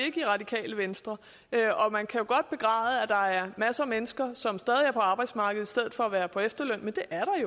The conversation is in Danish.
i radikale venstre man kan godt begræde at der er masser af mennesker som stadig er på arbejdsmarkedet i stedet for at være på efterløn men det er